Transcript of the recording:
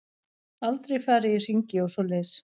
Aldrei farið í hringi og svoleiðis.